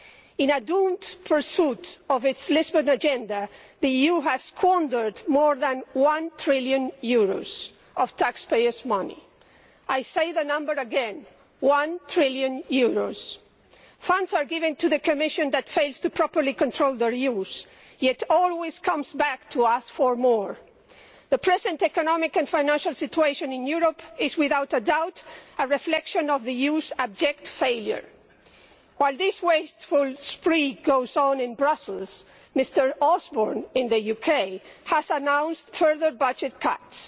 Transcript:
In a doomed pursuit of its Lisbon agenda the EU has squandered more than one trillion euros of taxpayers' money. I say the number again one trillion euros. Funds are given to the Commission which fails to properly control their use and yet it always comes back to us for more. The present economic and financial situation in Europe is without a doubt a reflection of the abject failure in the use of funds. While this wasteful spree goes on in Brussels, Mr Osborne in the UK has announced further budget cuts.